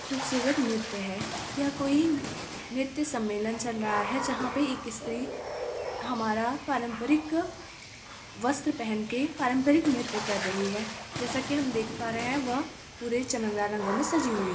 खूबसूरत नृत्य है यह कोई नृत्य समेलन चल रहा हैं जहाँ पर एक स्त्री हमारा पारंपरिक वस्त्र पहन के पारंपरिक नृत्य कर रही हैं। जैसा की हम देख पा रहे है वह पूरे चमकदार रंगों मे सजी हुई हैं।